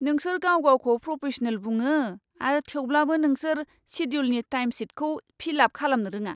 नोंसोर गाव गावखौ प्रफेशनेल बुङो आरो थेवब्लाबो नोंसोर शेड्युलनि टाइमशिटखौ फिल आप खालामनो रोङा!